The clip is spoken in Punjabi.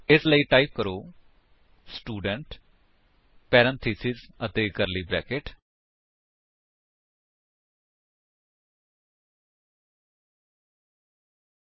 ਇਸ ਲਈ ਟਾਈਪ ਕਰੋ ਸਟੂਡੈਂਟ ਪੈਰੇਂਥੇਸਿਸ ਅਤੇ ਕਰਲੀ ਬਰੈਕੇਟਸ